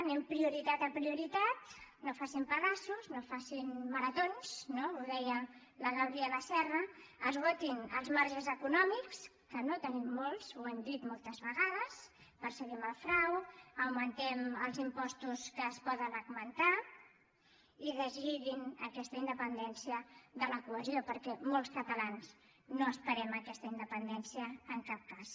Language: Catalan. anem prioritat a prioritat no facin pedaços no facin maratons no ho deia la gabriela serra esgotin els marges econòmics que no en tenim molts ho hem dit moltes vegades perseguim el frau augmentem els impostos que es poden augmentar i deslliguin aquesta independència de la cohesió perquè molts catalans no esperem aquesta independència en cap cas